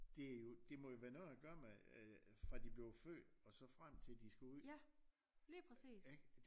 Det jo det må jo være noget at gøre med øh fra de blev født og så frem til de skal ud ikke